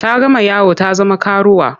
Ta gama yawo ta zama karuwa.